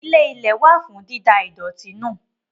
Ilé-ilẹ̀ wà fún dída ìdọ̀tí nù.